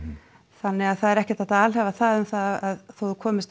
þannig að það er ekkert hægt að alhæfa það um það að þó þú komir